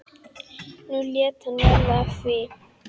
Nú lét hann verða af því.